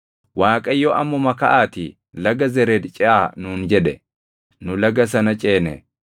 Waaqayyo, “Ammuma kaʼaatii Laga Zered ceʼaa” nuun jedhe. Nu laga sana ceene.